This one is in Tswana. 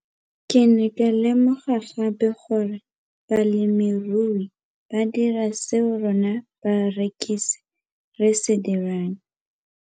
Ke ne ka lemoga gape gore balemirui ba dira seo rona barekisi re se dirang, ba ne ba phuthela ditholwana tsa bona mme ba di rekisa kwa marakeng wa Motsekapa.